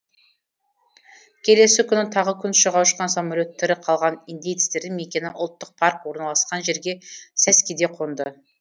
келесі күні тағы күн шыға ұшқан самолет тірі қалған индеецтердің мекені ұлттық парк орналасқан жерге сәскеде қонды